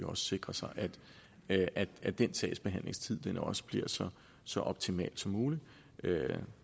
også sikre sig at den sagsbehandlingstid bliver så så optimal som muligt